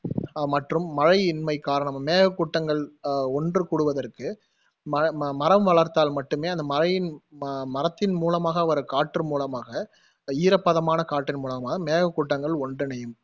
அஹ் மற்றும் மழையின்மை காரணம் மேகக் கூட்டங்கள் அஹ் ஒன்று கூடுவதற்கு ம~ மரம் வளர்த்தால் மட்டுமே அந்த மழையின் ம~ மரத்தின் மூலமாக வரும் காற்று மூலமாக ஈரப்பதமான காற்றின் மூலமாக மேகக்கூட்டங்கள் ஒன்றிணையும்